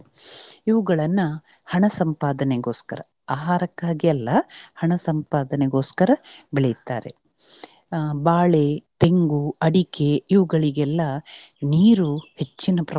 ಇವುಗಳನ್ನ ಹಣ ಸಂಪಾದನೆಗೋಸ್ಕರ ಆಹಾರಕ್ಕಾಗಿ ಅಲ್ಲ ಹಣ ಸಂಪಾದನೆಗೋಸ್ಕರ ಬೆಳೆಯುತ್ತಾರೆ. ಬಾಳೆ, ತೆಂಗು, ಅಡಿಕೆ ಇವುಗಳಿಗೆಲ್ಲ ನೀರು ಹೆಚ್ಚಿನ ಪ್ರಮಾಣದಲ್ಲಿ.